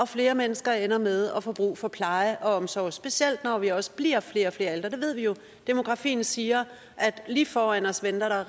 flere mennesker ender med at få brug for pleje og omsorg specielt når vi også bliver flere og flere ældre det ved vi jo demografien siger at lige foran os venter